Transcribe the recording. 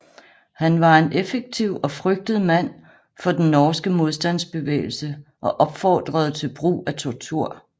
Han var en effektiv og frygtet mand for den norske modstandsbevægelse og opfordrede til brug af tortur